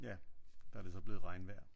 Ja der det så blevet regnvejr